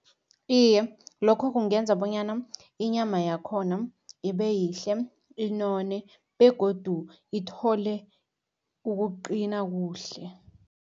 Iye, lokho kungenza bonyana inyama yakhona ibe yihle, inone begodu ithole ukuqina kuhle.